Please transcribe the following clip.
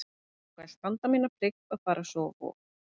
Ég ákvað að standa mína plikt og fara svo á Vog.